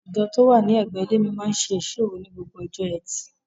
Ìjọ tó wà ní ẹ̀gbẹ́ ilé mi máa n ṣe ìsọ́ òru ní gbogbo ọjọ́ ẹtì.